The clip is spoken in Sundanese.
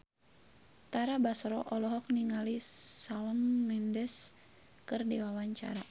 Tara Basro olohok ningali Shawn Mendes keur diwawancara